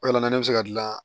O yɛlɛma ne be se ka dilan